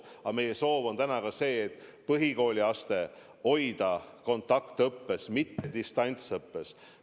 Samas meie soov on täna ka see, et hoida põhikooliaste kontaktõppes, mitte distantsõppes.